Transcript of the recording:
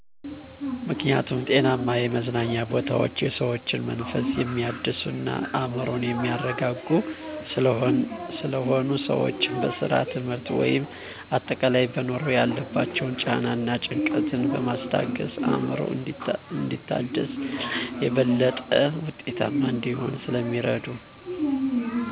ምክኒያቱም ጤናማ የመዝናኛ ቦታወች የሰዎችን መንፈስ የሚያድሱ እና አዕምሮን የሚያረጋጉ ስለሆኑ። ሰወች በስራ፣ ትምህርት ወይም አጠቃላይ በኑሮ ያለባቸውን ጫና እና ጭንቀትን በማስታገስ አዕምሮ እንዲታደስ እና የበለጠ ውጤታማ እንዲሆን ስለሚረዱ።